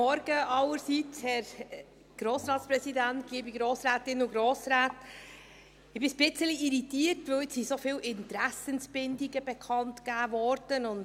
Ich bin etwas irritiert, weil jetzt so viele Interessenbindungen bekannt gegeben wurden.